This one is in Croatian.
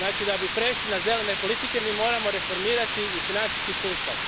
Znači, da bi prešli na zelene politike, mi moramo reformirati i financijski sustav.